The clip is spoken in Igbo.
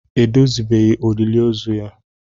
Edozibeghị olili ozu ya